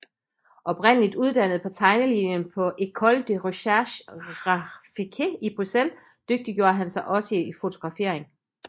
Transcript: Oprindeligt uddannet på tegnelinjen på École de recherche graphique i Bryssel dygtiggjorde han sig også i fotografering